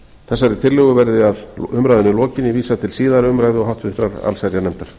þessari tillögu verði að umræðunni lokinni vísað til síðari umræðu og háttvirtrar allsherjarnefndar